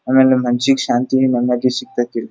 ಆಮೇಲೆ ಮನಸ್ಸಿಗೆ ಶಾಂತಿ ನೆಮ್ಮದಿ ಸಿಗ್ತೈತೆ.